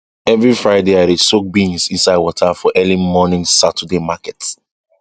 every friday i dey soak beans inside water for early morning saturday market